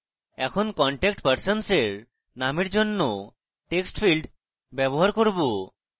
এখন contact persons এর নামের জন্য text field ব্যবহার করব